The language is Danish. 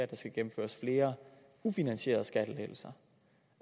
der skal gennemføres flere ufinansierede skattelettelser